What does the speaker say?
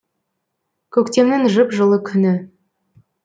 көктемнің жып жылы күні